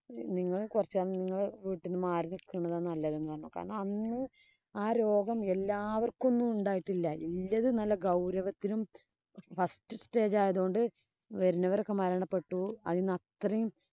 നിങ്ങള് കൊറച്ചു നാള് നിങ്ങള് വീട്ടീന്ന് മാറി നില്‍ക്കണതാ നല്ലതെന്ന് പറഞ്ഞു. കാരണം, അന്ന് ആ രോഗം എല്ലാവര്‍ക്കും ഒന്നുമുണ്ടായിട്ടില്ല. നല്ല ഗൌരവത്തിനും first stage ആയോണ്ട് വരുന്നവരൊക്കെ മരണപ്പെട്ടു. അത്രയും